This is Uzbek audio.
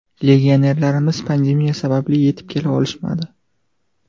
Legionerlarimiz pandemiya sabab yetib kela olishmadi.